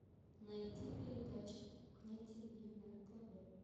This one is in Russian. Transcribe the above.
найти передачу кухня тиви на тв